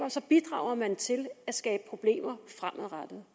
så bidrager man til at skabe problemer fremadrettet